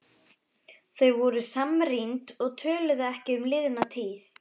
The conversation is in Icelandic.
Þau voru samrýnd og töluðu ekki um liðna tíð.